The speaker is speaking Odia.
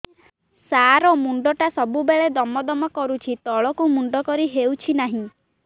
ସାର ମୁଣ୍ଡ ଟା ସବୁ ବେଳେ ଦମ ଦମ କରୁଛି ତଳକୁ ମୁଣ୍ଡ କରି ହେଉଛି ନାହିଁ